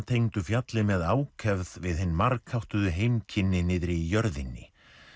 tengdu fjallið með ákefð við hin margháttuðu heimkynni niðri í jörðinni